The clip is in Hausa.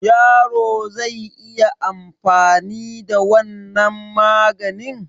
Yaro zai iya anfani da wannan maganin?